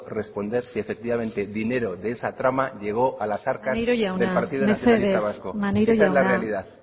responder si efectivamente el dinero de esa trama llegó a las arcas del partido nacionalista vasco esa es la realidad